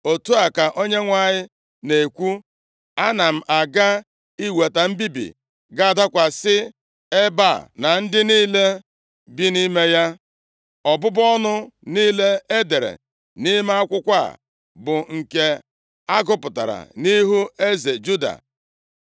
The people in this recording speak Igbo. ‘Otu a ka Onyenwe anyị na-ekwu: Ana m aga iweta mbibi ga-adakwasị ebe a na ndị niile bi nʼime ya, ọbụbụ ọnụ niile e dere nʼime akwụkwọ a, bụ nke a gụpụtara nʼihu eze Juda.